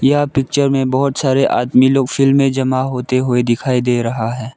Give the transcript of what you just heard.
यह पिक्चर में बहोत सारे आदमी लोग फील्ड में जमा होते हुए दिखाई दे रहा है।